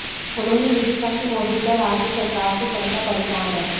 उन्होंने यह भी कहा कि मौजूदा राज्य सरकार से जनता परेशान है